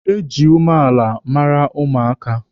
E ji umeala mara ụmụaka.